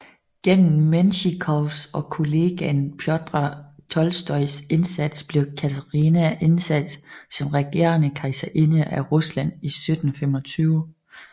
Gennem Mensjikovs og kollegaen Pjotr Tolstojs indsats blev Katarina indsat som regerende kejserinde af Rusland i 1725